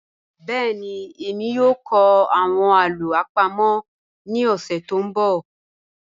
Bẹẹni, ẹ̀mí yoo kọ awọn alo apamo ni ọsẹ to nbọ.